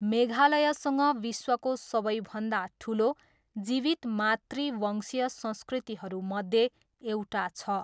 मेघालयसँग विश्वको सबैभन्दा ठुलो जीवित मातृवंशीय संस्कृतिहरूमध्ये एउटा छ।